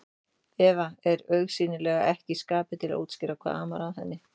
Eva er augsýnilega ekki í skapi til að útskýra hvað amar að henni.